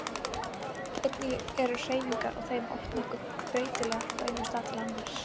Einnig er hreyfingin á þeim oft nokkuð breytileg frá einum stað til annars.